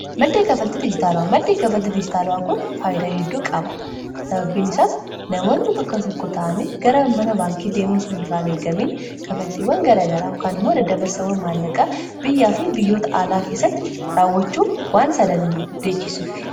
maddee kafaltitti ijitaalu'aa maddee kafaltitti ijitaala'aa kun faayyidaa hedduu qaba sababbiin isaas namoonni bakka tokko ta'anii gara mana baankii deemuu su irraan eeggamiin kafaltiiwwan garagaraa ukaan immoo dadda barsawwan maallaqaa biyyaa fi biyyoota aalaa keessatti raawwachuu waan sadandeechisuuf